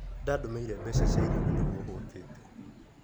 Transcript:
Ndandũmĩire mbeca cia irio na nĩguo hũtĩte.